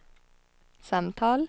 samtal